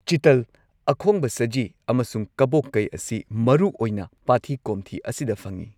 ꯆꯤꯇꯜ, ꯑꯈꯣꯡꯕ ꯁꯖꯤ, ꯑꯃꯁꯨꯡ ꯀꯕꯣꯀꯩ ꯑꯁꯤ ꯃꯔꯨꯑꯣꯏꯅ ꯄꯥꯊꯤ ꯀꯣꯝꯊꯤ ꯑꯁꯤꯗ ꯐꯪꯏ꯫